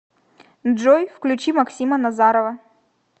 джой включи максима назарова